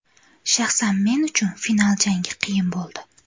Shaxsan men uchun final jangi qiyin bo‘ldi.